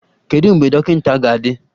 Kedu mgbe dọkịta ga-adị?